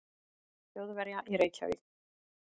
Þjóðverja í Reykjavík.